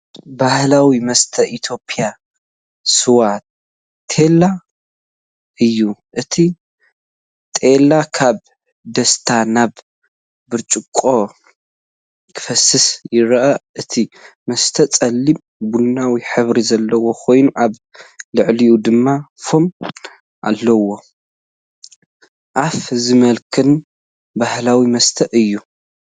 ባህላዊ መስተ ኢትዮጵያ ስዋ/ቴላ እዩ። እቲ ቴላ ካብ ድስቲ ናብ ብርጭቆ ክፈስስ ይረአ፤ እቲ መስተ ጸሊም ቡናዊ ሕብሪ ዘለዎ ኮይኑ ኣብ ልዕሊኡ ድማ ፎም ኣለዎ። ኣፍ ዝመልኽን ባህላዊ መስተ እዩ፡፡